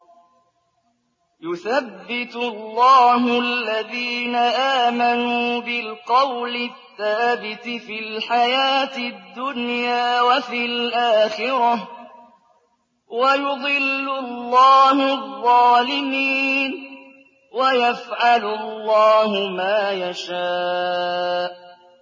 يُثَبِّتُ اللَّهُ الَّذِينَ آمَنُوا بِالْقَوْلِ الثَّابِتِ فِي الْحَيَاةِ الدُّنْيَا وَفِي الْآخِرَةِ ۖ وَيُضِلُّ اللَّهُ الظَّالِمِينَ ۚ وَيَفْعَلُ اللَّهُ مَا يَشَاءُ